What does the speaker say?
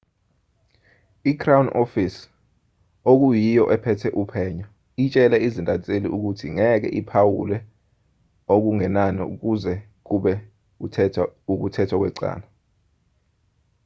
i-crown office okuyiyo ephethe uphenyo itshele izintatheli ukuthi ngeke iphawule okungenani kuze kube ukuthethwa kwecala